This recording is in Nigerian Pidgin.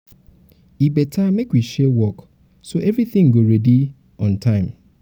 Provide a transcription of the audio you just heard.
e better make we share work so everything go um dey ready um on time.